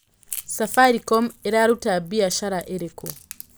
safaricom ĩraruta mbĩacara ĩrĩkũ